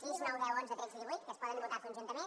sis nou deu onze tretze i divuit que es poden votar conjuntament